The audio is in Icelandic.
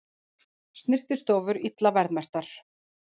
Snyrtistofur illa verðmerktar